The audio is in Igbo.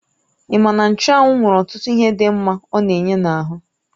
Ima na nchụ́anwu nwere ọtụtụ ihe dị mma ọ na-enye n'ahụ?